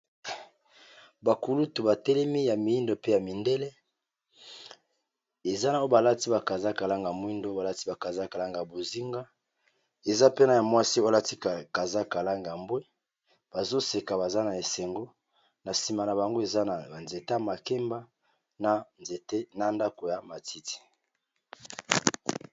bakulutu batelemi ya miindo pe ya mindele eza nao balati bakaza kalanga mwindo balati bakazakalanga bozinga eza pena ya mwasi balati kaza kalanga ambwe bazoseka baza na esengo na nsima na bango eza na banzete makemba ena ndako ya matiti